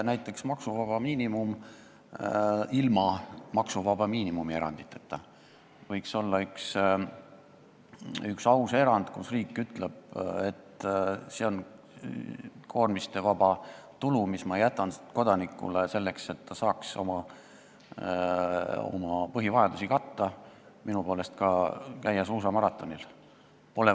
Näiteks võiks maksuvaba miinimum olla üks aus erand, kui riik ütleb, et see on koormistevaba tulu, mis jäetakse kodanikule selleks, et ta saaks oma põhivajadusi katta, minu poolest käia kas või suusamaratonil.